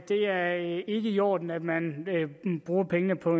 det er ikke i orden at man bruger pengene på